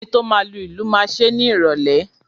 Enito máa lu ìlù máa ṣe ni ìrólé